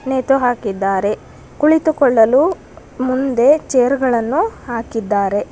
ನೇತು ಹಾಕಿದ್ದಾರೆ ಕುಳಿತುಕೊಳ್ಳಲು ಮುಂದೆ ಚೇರ್ ಗಳನ್ನು ಹಾಕಿದ್ದಾರೆ.